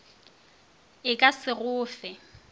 e ka se go fe